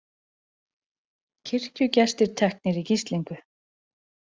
Kirkjugestir teknir í gíslingu